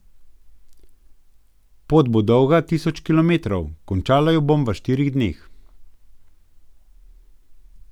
Pot bo dolga tisoč kilometrov, končala jo bom v štirih dneh.